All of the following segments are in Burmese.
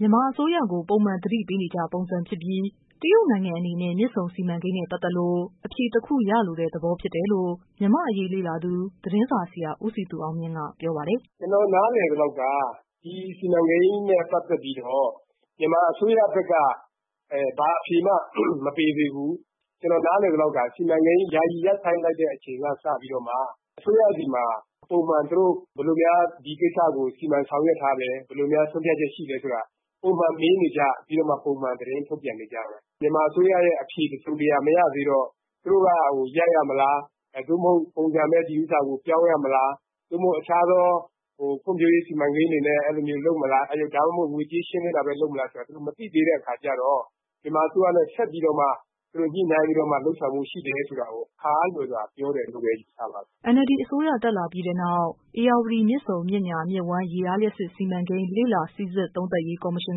မြန်မာအစိုးရကို ပုံမှန် သတိပေးနေကျပုံစံဖြစ်ပြီး တရုတ်နိုင်ငံအနေနဲ့ မြစ်ဆုံစီမံကိန်းနဲ့ ပတ်သက်လို့ အဖြေတခု ရလိုတဲ့ သဘောဖြစ်တယ်လို့ မြန်မာအရေး လေ့လာသူ သတင်းစာဆရာ ဦးစည်သူအောင်မြင့်ကတော့ ပြောပါတယ်။ " ကျနော်နားလည်သလောက်က ဒီစီမံကိန်းနဲ့ပတ်သက်ပြီးတော့ မြန်မာအစိုးရဘက်က ဘာအဖြေမှ မပေးသေးဘူး။ စီမံကိန်း ယာယီရပ်ဆိုင်းလိုက်တဲ့အချိန်ကစပြီးတော့ အစိုးရဆီမှာ ပုံမှန်ပေါ့နော် ဘယ်လိုများ ဒီကိစ္စကို စီမံဆောင်ရွက်ထားလဲ ဘယ်လိုများ ဆုံးဖြတ်ချက်ရှိထားလဲဆိုတာ ပုံမှန်မေးနေကျ ပုံမှန်သတင်းထုတ်ပြန်နေကျပဲ။ မြန်မာအစိုးရရဲ့ အဖြေမရသေးတော့ သူတို့က ရပ်ရမလား ဒီဥစ္စာကို ပုံစံပဲပြောင်းရမလား။ သို့မဟုတ် တခြားသောဖွံ့ဖြိုးရေးစီမံကိန်းတွေကို လုပ်မလား ဒါမှမဟုတ် ငွေကြေး ရှင်းလင်းတာပဲ လုပ်မလားဆိုတာ မသိသေးတဲ့အခါကျတော့ မြန်မာအစိုးရနဲ့ ဆက်ပြီးတော့မှ ညှိနှိုင်းပြီးတော့ လုပ်ဖို့ရှိတယ်ဆိုတာ အခါအားလျော်စွာ ပြောတယ်လို့ပဲ ယူဆပါတယ်။" NLD အစိုးရတက်လာခဲ့ပြီးနောက် ဧရာဝတီ မြစ်ဆုံ မြစ်ညာ မြစ်ဝှမ်း ရေအားလ ျှပ်စစ် စီမံကိန်း လေ့လာစိစစ် သုံးသပ် ရေး ကော်မရှင်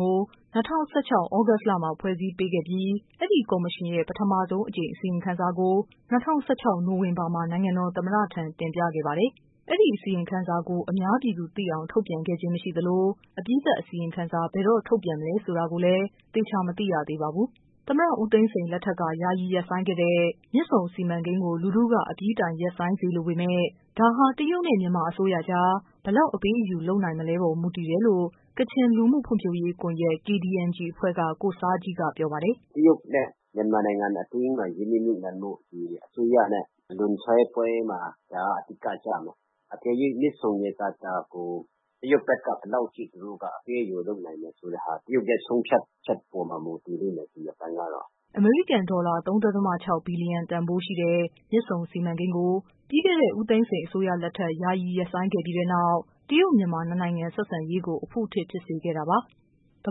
ကို ၂၀၁၆ သြဂုတ်လမှာ ဖွဲ့စည်းပေးခဲ့ပြီး အဲ့ဒီကော်မရှင်ရဲ့ ပထမဆုံးအကြိမ် အစီရင်ခံစာ ကို ၂၀၁၆ နိုဝင်ဘာလမှာ နိုင်ငံတော်သမ္မတထံ တင်ပြခဲ့ပါတယ်။ အဲဒီအစီရင်ခံစာကို အများပြည်သူသိအောင် ထုတ်ပြန်ခဲ့ခြင်းမရှိသလို အပြီးသတ် အစီရင်ခံစာ ဘယ်တော့ ထုတ်ပြန်မလဲဆိုတာလည်း သေချာမသိရသေးပါဘူး။ သမ္မတဦးသိန်းစိန်လက်ထက်က ယာယီရပ်ဆိုင်းခဲ့တဲ့ မြစ်ဆုံစီမံကိန်းကို လူထုက အပြီးအပိုင် ရပ်ဆိုင်းစေလိုပေမယ့် ဒါဟာ တရုတ်နဲ့ မြန်မာ အစိုးရကြား ဘယ်လောက် အပေးအယူ လုပ်နိုင်မလဲအပေါ် မူတည်မယ်လို့ ကချင်လူမှုဖွံ့ဖြိုးရေးကွန်ယက် အဖွဲ့က ကိုဆားဂျီးက ပြောပါတယ်။ "တရုတ်နဲ့ မြန်မာနိုင်ငံအတွင်းမှာ ရင်းနှီးမြှုပ်နှံမှု အစိုးရနဲ့ လွန်ဆွဲပွဲမှာ ဒါက အဓိကကျမှာ အကယ်လို့ မြစ်ဆုံ ရေကာတာကို တရုတ်ဘက်က ဘယ်လောက်အထိ သူတို့က အပေးအယူလုပ်နိုင်မလဲဆိုတာ တရုတ်ဘက်က ဆုံးဖြတ်ချက်အပေါ်မှာ မူတည်လိုက်မယ် ဒီအပိုင်းကတော့။" အမေရိကန် ဒေါ်လာ ၃.၆ ဘီလျံတန်ဖိုးရှိတဲ့ မြစ်ဆုံစီမံကိန်းကို ပြီးခဲ့တဲ့ ဦးသိန်းစိန် အစိုးရလက်ထက် ယာယီ ရပ်ဆိုင်းခဲ့ပြီးတဲ့နောက် တရုတ်-မြန်မာ နှစ်နိုင်ငံ ဆက်ဆံရေးကို အဖုအထစ်ဖြစ်စေခဲ့တာပါ။ သ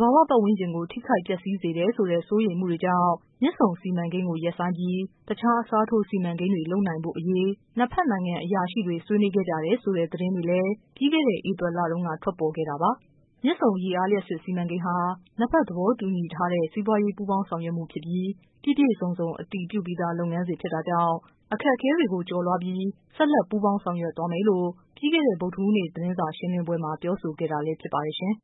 ဘာဝ ပတ်ဝန်းကျင်ကို ထိခိုက်ပျက်စီးစေနိုင်တယ်ဆိုတဲ့ စိုးရိမ်မှုတွေကြောင့် မြစ်ဆုံစီမံကိန်းကို ရပ်ဆိုင်းပြီး တခြား အစားထိုး စီမံကိန်းတွေ လုပ်နိုင်ဖို့အရေး နှစ်ဖက်နိုင်ငံ အရာရှိတွေ ဆွေးနွေးခဲ့ကြ တယ်ဆိုတဲ့ သတင်းတွေလည်း ပြီးခဲ့တဲ့ ဧပြီလတုန်း ပေါ်ထွက်ခဲ့တာပါ။ တရုတ်နိုင်ငံခြားရေး ဌာန ပြောခွင့်ရသူကတော့ မြစ်ဆုံရေအား လျှပ်စစ်စီမံကိန်းဟာ နှစ်ဘက် သဘော တူထားတဲ့ စီးပွားရေးပူးပေါင်းဆောင်ရွက်မှု ဖြစ်ပြီး ပြည့်ပြည့်စုံစုံ အတည်ပြုပြီးသား လုပ်ငန်းစဉ်ဖြစ်တာ ကြောင့် အခက်အခဲတွေကိုကျော်လွှားပြီး ဆက်လက်ပူးပေါင်းဆောင်ရွက်သွားမယ်လို့ ပြီးခဲ့တဲ့ ဗုဒ္ဓဟူး နေ့က သတင်းစာရှင်းလင်းပွဲမှာ ပြောဆိုခဲ့တာလည်းဖြစ်ပါတယ်ရှင်။